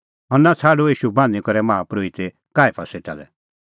हन्ना छ़ाडअ ईशू बान्हीं करै माहा परोहित काईफा सेटा लै